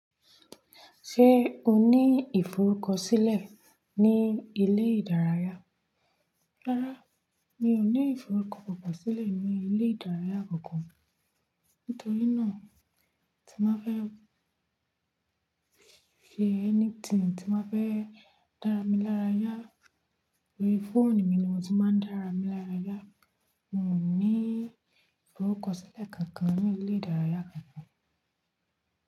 Ṣé o ní ìforúkọ sílẹ̀ ní ilé ìdárayá? Rárá, mi ò ní ìforúkọ kankan sílẹ̀ ní ilé ìdárayá kankan. Nítorí náà, tí má fẹ́ fi ẹni tíì tí má fẹ́ dára mi lárayá, òrí fóònù mi ni mo ti máa ń dára mi lárayá. N ò ní ìforúkọ sílẹ̀ kankan ní ilé ìdárayá.